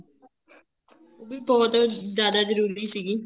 ਉਹ ਵੀ ਬਹੁਤ ਜਿਆਦਾ ਜਰੂਰੀ ਸੀਗੀ